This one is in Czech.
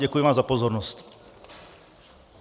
Děkuji vám za pozornost.